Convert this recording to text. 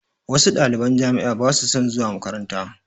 Wasu ɗaliban jami'a ba su son zuwa makaranta